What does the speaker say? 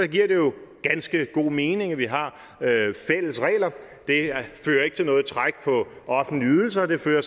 giver det jo ganske god mening at vi har fælles regler det fører ikke til noget træk på offentlige ydelser det fører